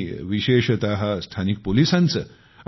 मी विशेषत स्थानिक पोलिसांचे